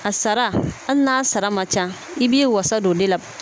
A sara hali n'a sara man ca i b'i wasa don o de la